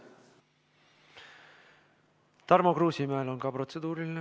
Tarmo Kruusimäel on samuti protseduuriline.